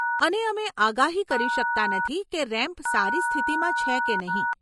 અને અમે આગાહી કરી શકતા નથી કે રેમ્પ સારી સ્થિતિમાં છે કે નહીં.